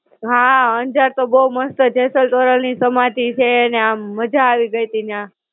હાં, અંજાર તો બહું મસ્ત જેસલ-તોરલ ની સમાધિ છે ને આમ મજા આવી ગઇતી ન્યાં.